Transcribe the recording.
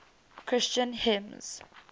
christian hymns